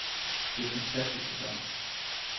Det er en fantastisk sæson.